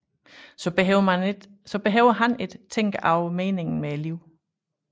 Så behøver han ikke tænke over meningen med livet